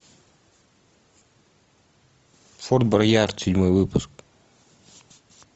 форд боярд седьмой выпуск